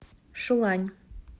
шулань